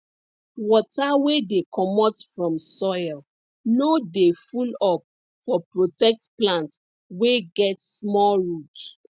water wey dey commot from soil no dey full up for protect plants wey get small roots